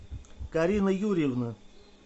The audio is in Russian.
карина юрьевна